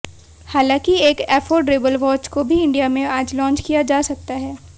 हालाँकि एक affordable watch को भी इंडिया में आज लॉन्च किया जा सकता है